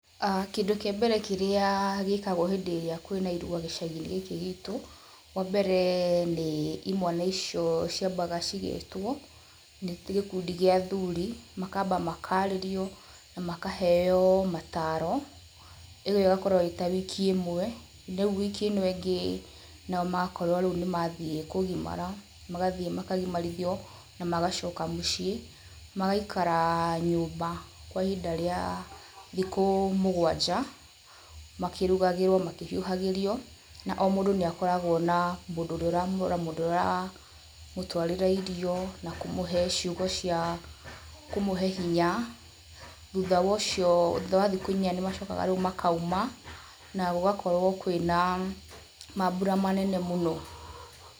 Kĩndũ kĩa mbere kĩrĩa gĩkagwo hĩndĩ ĩrĩa kwĩna irua gĩcagi gĩkĩ gitũ, wa mbere nĩ imwana icio ciambaga cigetwo nĩ gĩkundi gĩa athuri makamba makarĩrio makahep mataro ĩyo ĩgakorwo ĩta wiki ĩmwe, wiki ĩno ĩngĩ magakorwo nao nĩ mathiĩ kũgimara, magathiĩ makagimarithio magaikara nyũmba kwa ihinda rĩa thikũ mũgwanja makĩrugagĩrwo makĩhiuhagĩrio, mũndũ nĩ akoragwo na mũndũ ũrĩa ũramũrora mũndũ ũrĩa ũramũtwarĩra irio na kũmũhe irio na kũmũhe ciugo cia kũmũhe hinya na thutha wa ũcio, thutha wa thikũ inya nĩ macokaga makauma na gũgakorwo kwĩna mambura manene mũno.